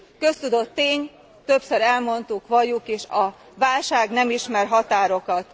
Köztudott tény többször elmondtuk, valljuk is a válság nem ismer határokat.